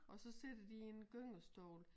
Og så sidder de i en gyngestol